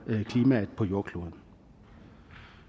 klimaet på jordkloden